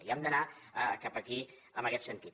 i hem d’anar cap aquí en aguest sentit